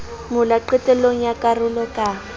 mola qetellong ya karolo ka